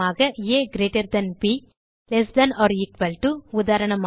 ah b less than or equal to உதாரணமாக